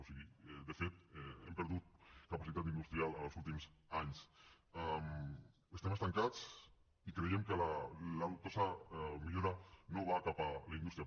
o sigui de fet hem perdut capacitat industrial en els últims anys estem estancats i creiem que la dubtosa millora no va cap a la indústria